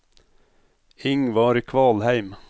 Ingvar Kvalheim